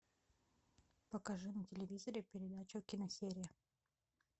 покажи на телевизоре передачу киносерия